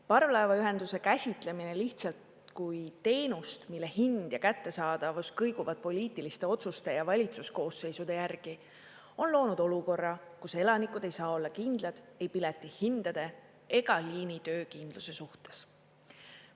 Parvlaevaühenduse käsitlemine lihtsalt kui teenust, mille hind ja kättesaadavus kõiguvad poliitiliste otsuste ja valitsuskoosseisude järgi, on loonud olukorra, kus elanikud ei saa olla kindlad ei piletihindade ega liini töökindluse suhtes.